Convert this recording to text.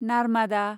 Narmada